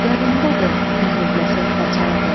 Yadındadır nə hövləsək qaçar idim?